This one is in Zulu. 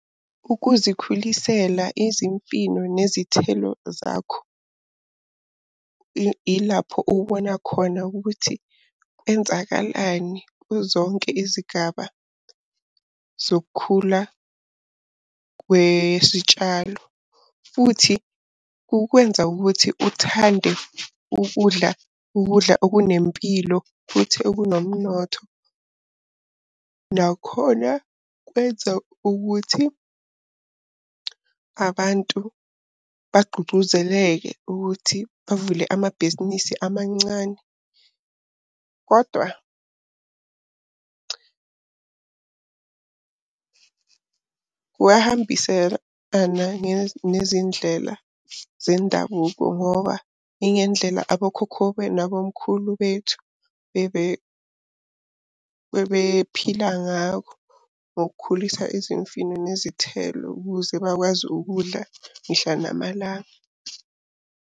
Ukuzikhulisela izimfino nezithelo zakho. Ilapho obona khona ukuthi kwenzakalani kuzo zonke izigaba zokukhula kwesitshalo. Futhi kukwenza ukuthi uthande ukudla ukudla okunempilo futhi okunomnotho. Nakhona kwenza ukuthi abantu bagqugquzeleke ukuthi bavule amabhizinisi amancane. Kodwa kuyahambiselana nezindlela zendabuko ngoba ingendlela abo khokho nabo mkhulu bethu, bebephila ngakho. Ngokukhulisa izimfino nezithelo ukuze bakwazi ukudla mihla namalanga.